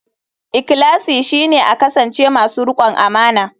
Ikhlasi shine a kasance masu rikon amana.